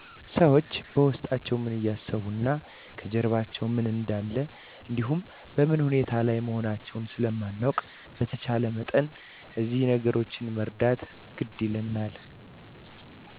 ሠዎች በውስጣቸው ምን እያሰቡ እና ከጀርባቸው ምን እንደለ እንዲሁ በምን ሁኔታ ላይ መሆናውን ስለማናውቅ በተቻለ መጠን እዚህ ነገሮች መረዳት ግድ ይለናል